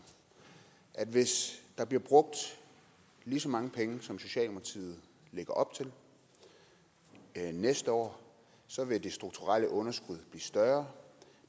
at hvis der bliver brugt lige så mange penge som socialdemokratiet lægger op til næste år så vil det strukturelle underskud blive større